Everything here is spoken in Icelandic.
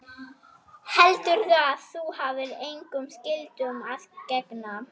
Heldurðu að þú hafir engum skyldum að gegna?